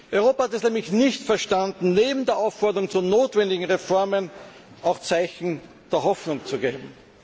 Europa hat es nämlich nicht verstanden, neben der Aufforderung zu notwendigen Reformen auch Zeichen der Hoffnung zu setzen.